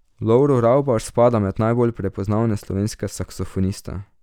Lovro Ravbar spada med najbolj prepoznavne slovenske saksofoniste.